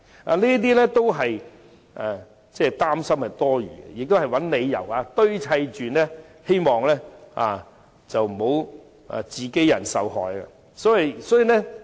他們的擔心都是多餘的，只是堆砌出來的理由，為免自己人受害。